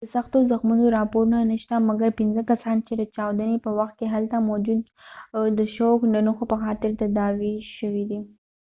د سختو زخمونو راپورونه نه شته مګر پنځه کسان چې د چاودنی په وخت کې هلته موجود و د شوک د نښو په خاطر تداوي شوي دي